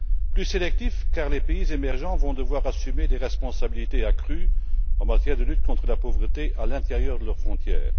Plus sélectif, car les pays émergents vont devoir assumer des responsabilités accrues en matière de lutte contre la pauvreté à l'intérieur de leurs frontières.